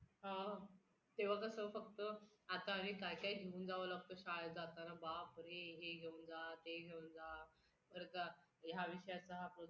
तीन सदस्य भारत सरकार नियुक्त करते हे सदस्य अर्थव्यवस्था बँकिंग वित्त किंवा स्तल ध्वल तज्ज्ञ असतात.